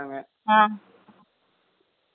ஆ